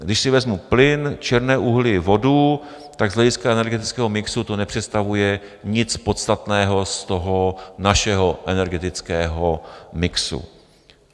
Když si vezmu plyn, černé uhlí, vodu, tak z hlediska energetického mixu to nepředstavuje nic podstatného z toho našeho energetického mixu.